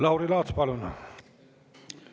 Lauri Laats, palun!